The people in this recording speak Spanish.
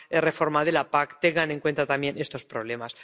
reforma de la PAC tengan en cuenta también estos problemas.